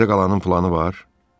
Sizdə qalanın planı var?